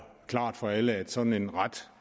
klart for alle at sådan en ret